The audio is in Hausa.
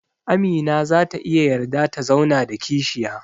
Amina zata iya yarda ta zauna da kishiya